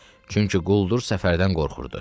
Çünki quldur Səfərdən qorxurdu.